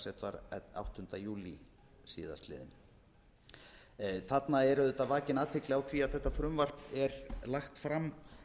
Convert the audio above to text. allsherjarnefndar dags áttunda júlí síðastliðinn þarna er auðvitað vakin athygli á því að þetta frumvarp er lagt fram